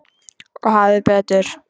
Og hafði betur.